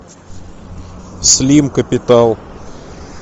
слим капитал